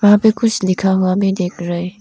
यहां पे कुछ लिखा हुआ में देख रहे।